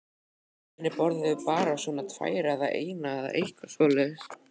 Hinir borðuðu bara svona tvær eða eina eða eitthvað svoleiðis.